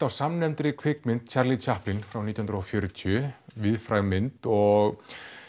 á samnefndri kvikmynd Charlie frá nítján hundruð og fjörutíu víðfræg mynd og